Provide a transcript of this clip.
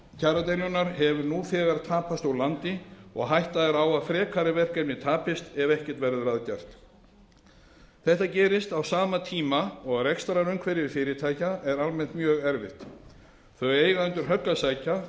kjaradeilunnar hefur nú þegar tapast úr landi og hætta er á að frekari verkefni tapist ef ekkert verður að gert þetta gerist á sama tíma og rekstrarumhverfi fyrirtækja er almennt mjög erfitt þau eiga undir högg að sækja